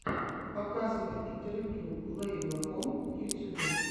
показывай интервью лэйбла ком в ютьюбе